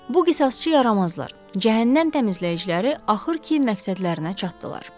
Bu qisasçı yaramazlar, cəhənnəm təmizləyiciləri axır ki, məqsədlərinə çatdılar.